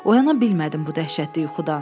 Oyana bilmədim bu dəhşətli yuxudan.